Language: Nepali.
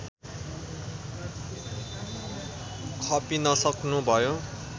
खपिनसक्नु भयो